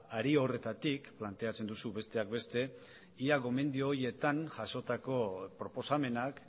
hari horretatik planteatzen duzu besteak beste ea gomendio horietan jasotako proposamenak